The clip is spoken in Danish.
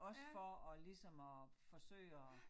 Også for at ligesom at forsøge at